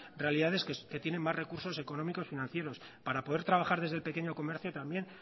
realidades que tienen más recursos económicos financieros para poder trabajar desde el pequeño comercio también